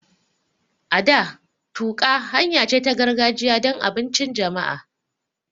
A da, tuƙa, hanya ce ta gargajiya don abincin jama'a